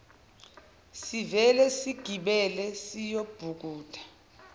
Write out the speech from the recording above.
sivele sigibele siyobhukuda